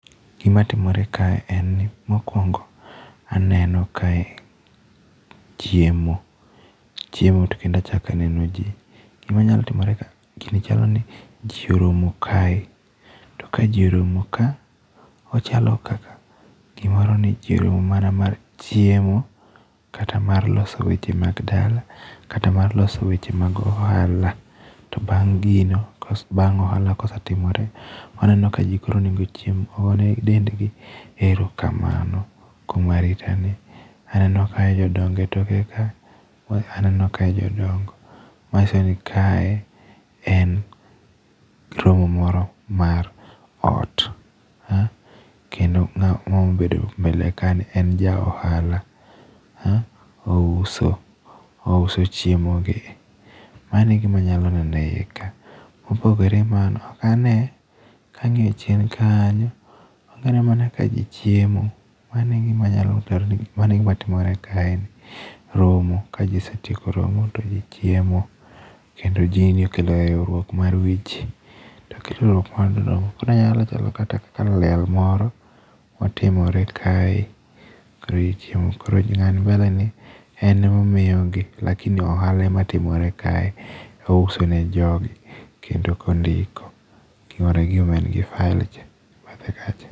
Gimatimore kae en ni mokwongo aneno kae chiemo, chiemo to kendo achako aneno ji. Gimanyalo timore gini chalo ni ji oromo kae, to ka ji oromo ka, ochalo kaka gimoro ni ji oromo mana mar chiemo kata mar loso weche mag dala, kata mar loso weche mag ohala, to bang' gino, bang' ohala kosetimore, waneno ka ji koro onego ochiem, gone dendgi erokamano, kuom aritani . Aneno kae jodongo e toke ka, aneno kae jodongo, manyiso ni kae en romo moro mar ot. Kendo ng'a mobedo mbele ka ni en ja ohala, ouso chiemogi . Mano e gima anyalo neno e iye ka. Mopogore gi mano, ok ane, kang'iyo chien kanyo, ok ane ka ji chiemo, mano e gima anyalo paro ,mano e gima timore kaeni. Romo, ka ji osetieko romo, to ji chiemo, kendo gini kelo riwruok mar weche, koro onyalo chalo kaka liel moro motimore kae, koro ji chiemo, koro ng'a ni mbele ni en emomiyogi, lakini ohala ematimore kae, ouso ne jogi, kendo kondiko, gima en gi file cha e bathe kacha.